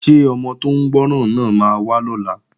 Ṣé ọmọ tó ń gbọ́ràn náà máa wá lọ́la?